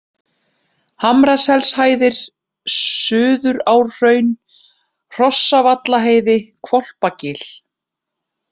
Hamraselshæðir, Suðurárhraun, Hrossavallaheiði, Hvolpagil